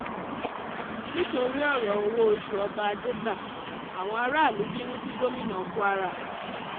nítorí ọ̀rọ̀ owó-oṣù ọba jégbà àwọn aráàlú bínú sí gómìnà kwara